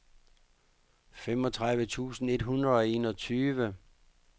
syvogtredive tusind et hundrede og enogtyve